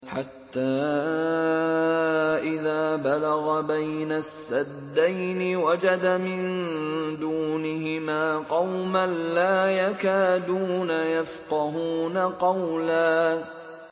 حَتَّىٰ إِذَا بَلَغَ بَيْنَ السَّدَّيْنِ وَجَدَ مِن دُونِهِمَا قَوْمًا لَّا يَكَادُونَ يَفْقَهُونَ قَوْلًا